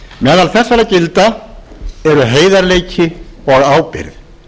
meðal þessara gilda eru heiðarleiki og ábyrgð